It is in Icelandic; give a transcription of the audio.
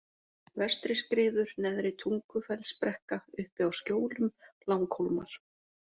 Vestriskriður, Neðri-Tungufellsbrekka, Uppi á Skjólum, Langhólmar